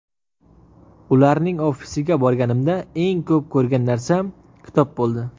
Ularning ofisiga borganimda, eng ko‘p ko‘rgan narsam kitob bo‘ldi.